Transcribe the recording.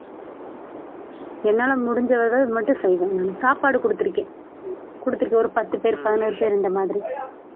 என்னால முடிஞ்ச உதவி மட்டும் செய்வேன் சாப்பாடு குடுத்து இருக்கேன். கொடுத்திருக்கேன் ஒரு பத்து பேரு பதினோரு பேரு அந்த மாதிரி